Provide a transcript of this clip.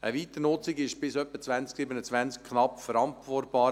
Eine Weiternutzung ist bis ungefähr 2027 knapp verantwortbar.